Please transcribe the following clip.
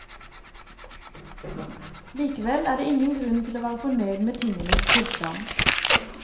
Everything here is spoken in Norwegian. Likevel er det ingen grunn til å være fornøyd med tingenes tilstand.